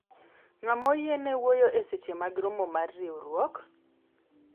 ng'ama oyiene wuoyo e seche mag romo mar riwruok?